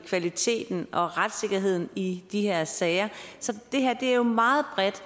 kvaliteten og retssikkerheden i de her sager så det her er jo meget bredt